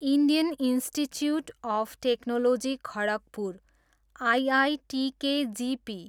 Indian institute of technology Kharagpur, IITKGP